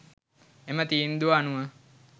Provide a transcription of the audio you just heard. එම තීන්දුව අනුව